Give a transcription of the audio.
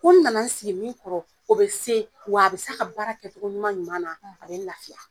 Ko n nana sigi min kɔrɔ, o bɛ se, w'a bi se ka baara kɛcogo ɲuman ɲuman na, a bɛ lafiya.